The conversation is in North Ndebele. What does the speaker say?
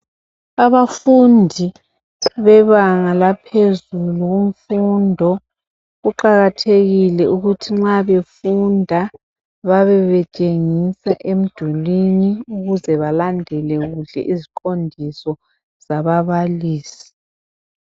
Abafundi bebanga laohezulu kumfundo kuqakathekile ukuthi bxa befunda babebetshengiswa emdulwini ukuze belandle kuhle iziqondiso zababalisi.